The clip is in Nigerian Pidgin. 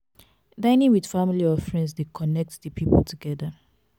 dinning with family or friends de connect di pipo together